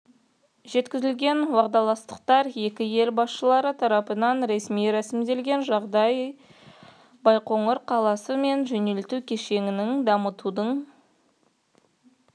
жеткізілген уағдаластықтар екі ел басшылары тарапынан ресми рәсімделген жағдайда байқоңыр қаласы мен жөнелту кешенін дамытудың